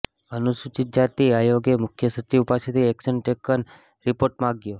અનુસૂચિત જાતિ આયોગે મુખ્ય સચિવ પાસેથી એક્શન ટેકન રિપોર્ટ માગ્યો